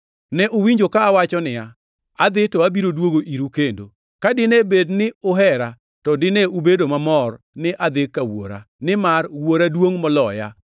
“Ne uwinjo ka awacho niya, ‘Adhi to abiro duogo iru kendo.’ Ka dine bed ni uhera, to dine ubedo mamor ni adhi ka Wuora, nimar Wuora duongʼ moloya.